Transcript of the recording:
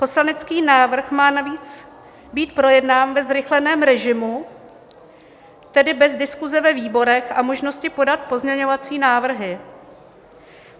Poslanecký návrh má navíc být projednán ve zrychleném režimu, tedy bez diskuse ve výborech a možnosti podat pozměňovací návrhy.